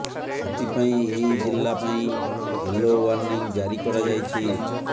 ସେଥିପାଇଁ ଏହି ଜିଲ୍ଲା ପାଇଁ ୟେଲୋ ଓ୍ୱାର୍ଣ୍ଣିଂ ଜାରି କରାଯାଇଛି